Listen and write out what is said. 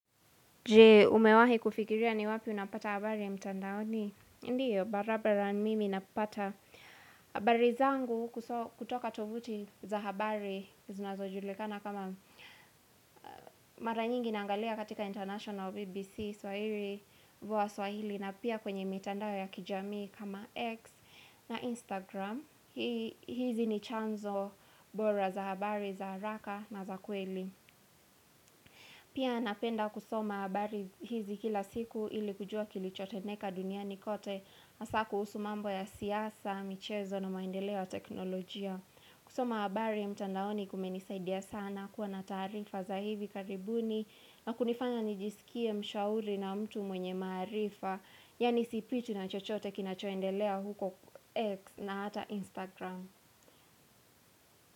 Je umewahi kufikiria ni wapi unapata habari ya mtandaoni? Ndiyo, barabara mimi napata. Habari zangu kutoka tovuti za habari, zunazo julikana kama mara nyingi naangalia katika International BBC, Swahiri, Vua Swahili, na pia kwenye mitandao ya kijamii kama X na Instagram. Hizi ni chanzo bora za habari, za haraka na za kweli. Pia napenda kusoma habari hizi kila siku ili kujua kilichotendeka duniani kote hasa kuhusu mambo ya siasa na maendeleo ya teknolojia. Kusoma habari ya mtandaoni kumenisaidia sana kuwa na taarifa za hivi karibuni na kunifanya nijisikie mshauri na mtu mwenye maarifa. Yani sipitwi na chochote kinachoendelea huko X na hata Instagram.